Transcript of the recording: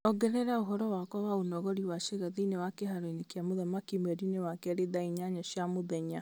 ongerera ũhoro wakwa ũnogori wa ciĩga thĩinĩ wa kĩharo-inĩ kĩa mũthamaki mweri-inĩ wa kerĩ thaa inyanya cia mũthenya